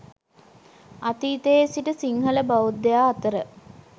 අතීතයේ සිට සිංහල බෞද්ධයා අතර